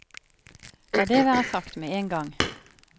La det være sagt med en gang.